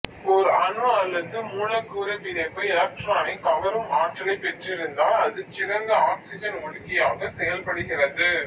ஒரு அணு அல்லது மூலக்கூறு பிணைப்பு எலெக்ட்ரானை கவரும் ஆற்றலைப் பெற்றிருந்தால் அதுச் சிறந்த ஆக்சிஜன் ஒடுக்கியாகச் செயல்படுகிறது